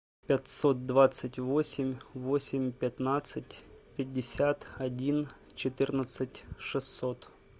пятьсот двадцать восемь восемь пятнадцать пятьдесят один четырнадцать шестьсот